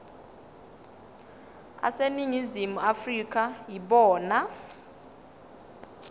aseningizimu afrika yibona